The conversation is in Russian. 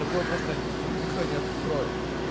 какое просто ну никто не откроет